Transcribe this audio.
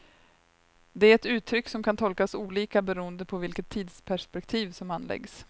Det är ett uttryck som kan tolkas olika beroende på vilket tidsperspektiv som anläggs.